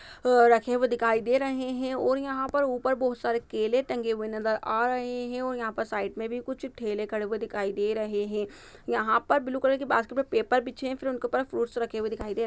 रखे हुए दिखाई दे रहे हैं और यहाँ पर ऊपर बहुत सारे केले टंगे हुए नजर आ रहे हैं और यहाँ पर साइड में भी कुछ ठेले खड़े हुए दिखाई दे रहे हैं यहाँ पर ब्लू कलर की बास्केट पर पेपर बिछे हैं फिर उनके ऊपर फ्रूट्स रखे हुए दिखाई दे रहे-- ।